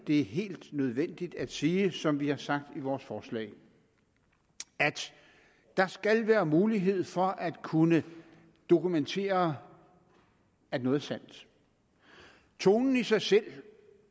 det er helt nødvendigt at sige som vi har sagt i vores forslag at der skal være mulighed for at kunne dokumentere at noget er sandt tonen i sig selv